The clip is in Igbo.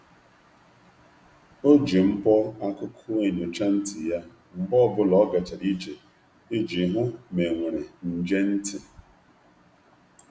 O ji mbọ akụkụ enyocha ntị ya mgbe ọ bụla o gachara ije iji hụ ma e nwere nje ntị.